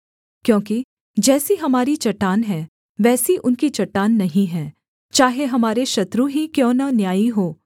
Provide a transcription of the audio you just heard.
क्योंकि जैसी हमारी चट्टान है वैसी उनकी चट्टान नहीं है चाहे हमारे शत्रु ही क्यों न न्यायी हों